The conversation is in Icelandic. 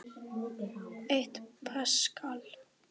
Eitt paskal